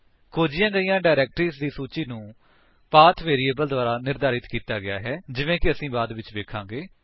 ਖੋਜੀਆਂ ਗਾਈਆਂ ਡਾਇਰੇਕਟਰੀਜ ਦੀ ਸੂਚੀ ਨੂੰ ਪਾਥ ਵੇਰੀਏਬਲ ਦੁਆਰਾ ਨਿਰਧਾਰਿਤ ਕੀਤਾ ਗਿਆ ਹੈ ਜਿਵੇਂ ਕਿ ਅਸੀਂ ਬਾਅਦ ਵਿੱਚ ਵੇਖਾਂਗੇ